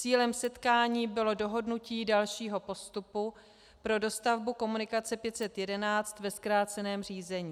Cílem setkání bylo dohodnutí dalšího postupu pro dostavbu komunikace 511 ve zkráceném řízení.